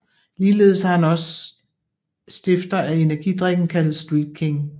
Ligeledes har han også stifter af energidrikken kaldet Street King